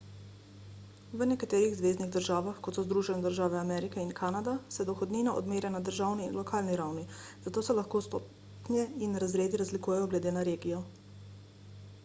v nekaterih zveznih državah kot so združene države amerike in kanada se dohodnina odmerja na državni in lokalni ravni zato se lahko stopnje in razredi razlikujejo glede na regijo